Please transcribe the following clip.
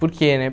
Por quê, né?